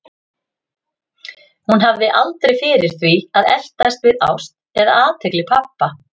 Hún hafði aldrei fyrir því að eltast við ást eða athygli pabba.